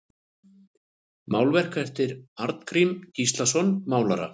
Málverk eftir Arngrím Gíslason málara